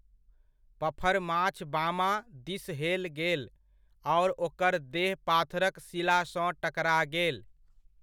पफरमाछ बामाँ दिस हेल गेल आओर ओकर देह पाथरक शिलासँ टकरा गेल।